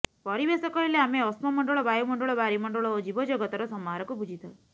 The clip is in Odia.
ପରିବେଶ କହିଲେ ଆମେ ଅଶ୍ମମଣ୍ଡଳ ବାୟୁମଣ୍ଡଳ ବାରିମଣ୍ଡଳ ଓ ଜୀବଜଗତର ସମାହାରକୁ ବୁଝିଥାଉ